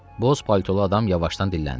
Boz paltolu adam yavaşdan dilləndi.